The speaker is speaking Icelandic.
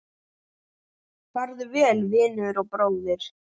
Farðu vel, vinur og bróðir!